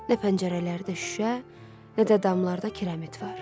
Nə pəncərələrdə şüşə, nə də damlarda kirəmit var.